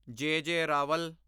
ਜੇ. ਜੇ. ਰਾਵਲ